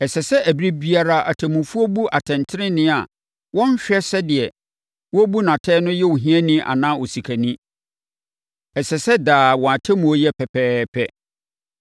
“ ‘Ɛsɛ sɛ ɛberɛ biara atemmufoɔ bu atɛntenenee a wɔnhwɛ sɛ deɛ wɔrebu no atɛn no yɛ ohiani anaa osikani. Ɛsɛ sɛ daa wɔn atemmuo yɛ pɛpɛɛpɛ.